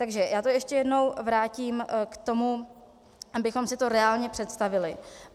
Takže já to ještě jednou vrátím k tomu, abychom si to reálně představili.